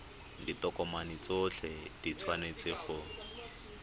ditokomane tsotlhe di tshwanetse go